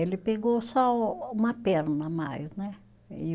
Ele pegou só uma perna a mais, né? E